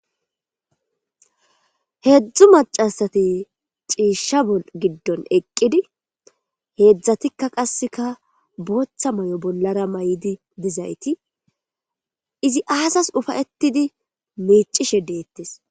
Heedzdzu macasati ciisha bo giddon eqqidi heedzdzatikka qasseka booththa may7o bollara may7idi dizayti izi aasas ufayettidi meicishe deette.